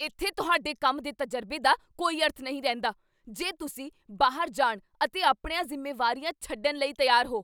ਇੱਥੇ ਤੁਹਾਡੇ ਕੰਮ ਦੇ ਤਜਰਬੇ ਦਾ ਕੋਈ ਅਰਥ ਨਹੀਂ ਰਹਿੰਦਾ ਜੇ ਤੁਸੀਂ ਬਾਹਰ ਜਾਣ ਅਤੇ ਆਪਣੀਆਂ ਜ਼ਿੰਮੇਵਾਰੀਆਂ ਛੱਡਣ ਲਈ ਤਿਆਰ ਹੋ।